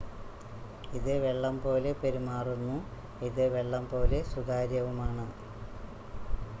ഇത് വെള്ളം പോലെ പെരുമാറുന്നു ഇത് വെള്ളം പോലെ സുതാര്യവുമാണ്